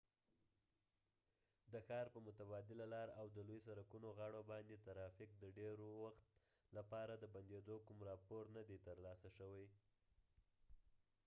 د ښار په متبادله لار او د لوي سرکونو غاړو باندي د ترافیک د ډیر وخت لپاره د بنديدو کوم راپور نه دي تر لاسه شوي